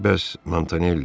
Bəs Montanelli?